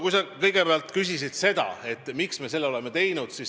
Sa kõigepealt küsisid, miks me seda oleme teinud.